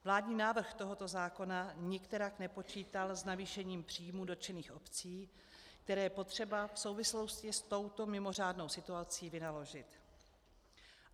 Vládní návrh tohoto zákona nikterak nepočítal s navýšením příjmů dotčených obcí, které je potřeba v souvislosti s touto mimořádnou situací vynaložit.